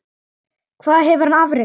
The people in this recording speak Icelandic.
Hvað hefur hann afrekað?